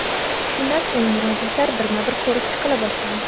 Shundan so‘ng murojaatlar birma-bir ko‘rib chiqila boshlandi.